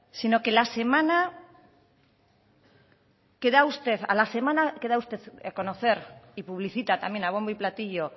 sino que a la semana que da usted a conocer y publicita también a bombo y platillo